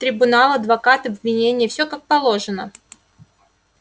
трибунал адвокат обвинение все как положено